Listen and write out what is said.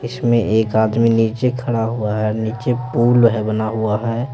इसमें एक आदमी नीचे खड़ा हुआ है नीचे पूल है बना हुआ है।